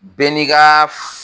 Bɛɛ n'i ka